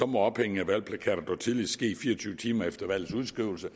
må ophængning af valgplakater dog tidligst ske fire og tyve timer efter valgets udskrivelse